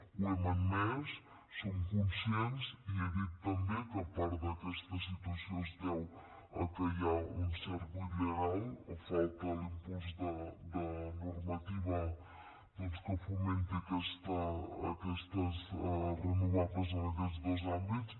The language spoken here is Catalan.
ho hem admès en som conscients i he dit també que part d’aquesta situació es deu a que hi ha un cert buit legal o falta l’impuls de normativa doncs que fomenti aquestes renovables en aquests dos àmbits